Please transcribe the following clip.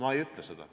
Mina ei ütle seda.